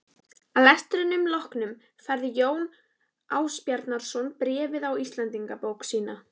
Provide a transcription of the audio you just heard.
Að lestrinum loknum færði Jón Ásbjarnarson bréfið í Íslendingabók sína.